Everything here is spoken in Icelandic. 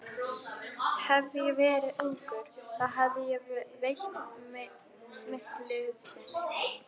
Hefði ég verið ungur, þá hefði ég veitt mitt liðsinni.